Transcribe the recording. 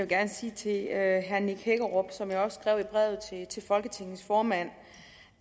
gerne sige til herre nick hækkerup som jeg har også skrevet i brevet til folketingets formand